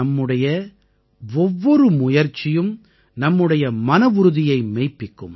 நம்முடைய ஒவ்வொரு முயற்சியும் நம்முடைய மனவுறுதியை மெய்ப்பிக்கும்